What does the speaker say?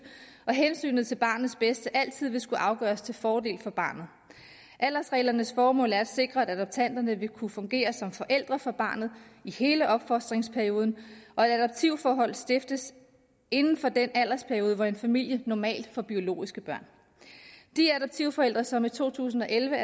og hensynet til barnets bedste altid vil skulle afgøres til fordel for barnet aldersreglernes formål er at sikre at adoptanterne vil kunne fungere som forældre for barnet i hele opfostringsperioden og at adoptivforhold stiftes inden for den aldersperiode hvor en familie normalt får biologiske børn de adoptivforældre som i to tusind og elleve